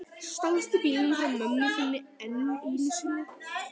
Stalstu bílnum frá mömmu þinni enn einu sinni?